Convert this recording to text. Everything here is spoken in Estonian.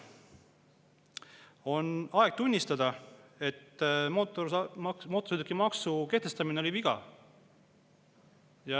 On aeg tunnistada, et mootorsõidukimaksu kehtestamine oli viga.